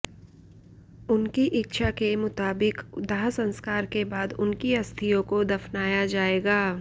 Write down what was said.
उनकी इच्छा के मुताबिक दाह संस्कार के बाद उनकी अस्थियों को दफनाया जाएगा